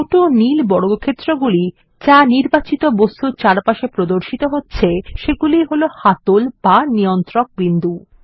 ছোট নীল বর্গক্ষেত্রগুলি যা নির্বাচিত বস্তুর চারপাশে প্রদর্শিত হচ্ছে সেগুলিই হলো হাতল বা নিয়ন্ত্রক বিন্দু